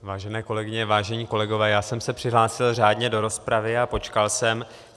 Vážené kolegyně, vážení kolegové, já jsem se přihlásil řádně do rozpravy a počkal jsem.